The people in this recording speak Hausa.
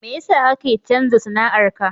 Me yasa kake canza sana'ar ka?